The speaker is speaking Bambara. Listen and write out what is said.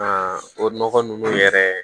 Aa o nɔgɔ ninnu yɛrɛ